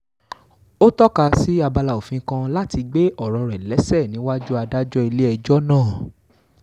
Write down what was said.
ó tọ́ka sí abala òfin kan láti gbé ọ̀rọ̀ rẹ̀ léṣe níwájú adájọ́ ilé-ẹjọ́ náà